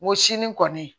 Woson kɔni